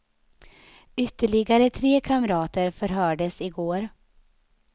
Ytterligare tre kamrater förhördes i går.